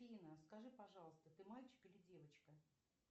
афина скажи пожалуйста ты мальчик или девочка